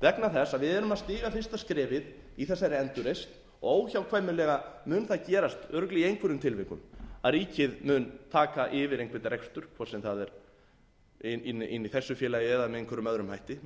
vegna þess að við erum að stíga fyrsta skrefið í þessari endurreisn og óhjákvæmilega mun það gerast örugglega í einhverjum tilvikum að ríkið mun taka yfir einhvern rekstur hvort sem það er inni í þessu félagi eða með einhverjum öðrum hætti